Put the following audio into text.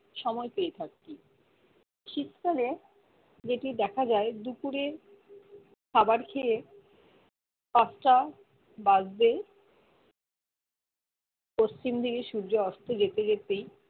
সময় পেয়ে থাকি শীতকালে যেটি দ্যাখা যায় দুপুরে খাবার খেয়ে পাঁচটা বাজতে পশ্চিম দিকে সূর্য অস্ত যেতে যেতেই